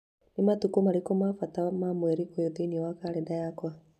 Nĩ matukũ marĩkũ ma bata ma mweri ũyũ thĩinĩ wa kalenda yakwa?